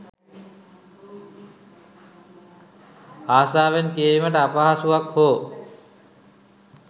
ආසාවෙන් කියවීමට අපහසුවක් හෝ